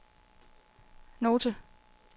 note